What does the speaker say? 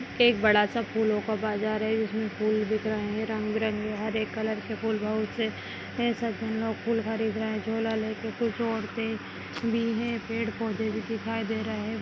एक बड़ा सा फूलों का बाजार है जिसमे फूल बिक रहे हैं रंग बिरंगी हरे कलर के फूल बहोत से ए-सज्जन लोग फूल खरीद रहे हैं झोला लेके कुछ औरते भी हैं पेड़ पौधे भी दिखाई दे रहे --